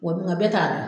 Wa mun bɛɛ t'a da